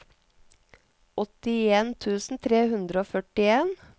åttien tusen tre hundre og førtien